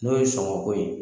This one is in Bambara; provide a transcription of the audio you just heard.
N'o ye sɔngɔko ye.